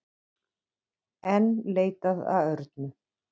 Enn leitað að Örnu